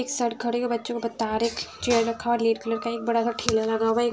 एक सर खड़े हुए बच्चों ओ बता रहे हैं क चेयर रखा है और रेड कलर का एक बड़ा सा ठेला लगा हुआ है एक --